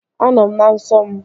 Anọ m na nsọ m